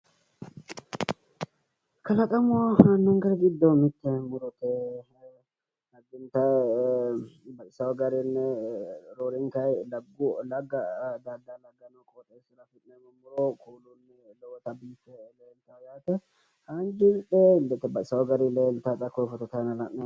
Kalaqamu jiro gido mite murote yaate baxisawo garini roorinta lagate qooxeesira afinani muro lowo geesha biifano yaate aniteteni ilete